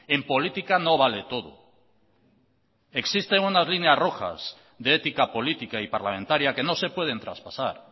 en política no vale todo existen unas líneas rojas de ética política y parlamentaria que no se pueden traspasar